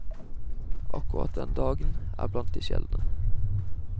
Akkurat denne dagen er blant de sjeldne.